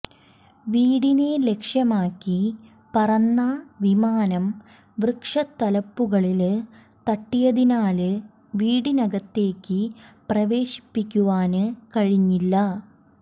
വീടിനെ ലക്ഷ്യമാക്കി പറന്ന വിമാനം വൃക്ഷ തലപ്പുകളില് തട്ടിയതിനാല് വീടിനകത്തേക്ക് പ്രവേശിപ്പിക്കുവാന് കഴിഞ്ഞില്ല